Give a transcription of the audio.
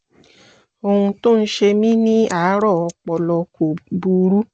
ohun tó ń ṣe mi ní àárọ̀ ọpọlọ kò burú